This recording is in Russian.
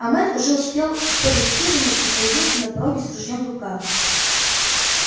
а мэтт уже успел сбегать в хижину и появился на пороге с ружьём в руках